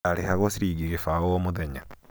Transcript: ndarĩhagwo ciringi gibaũ o mũthenya